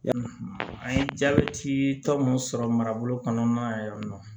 An ye jabɛti tɔ mun sɔrɔ marabolo kɔnɔna yan nɔ